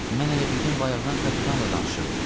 Mən elə bildim bayaqdan kapitanla danışıram.